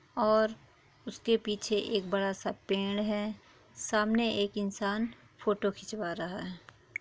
और उसके पीछे एक बड़ा सा पेड़ है सामने एक इंसान फोटो खिचवा रहा है ।